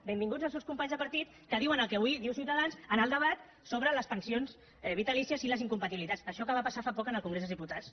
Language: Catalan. benvinguts els seus companys de partit que diuen el que avui diu ciutadans en el debat sobre les pensions vitalícies i les incompatibilitats això que va passar fa poc en el congrés dels diputats